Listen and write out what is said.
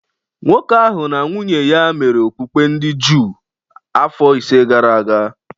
Nwoke ahụ na nwunye ya mere okpukpe ndị Juu afọ ise gara aga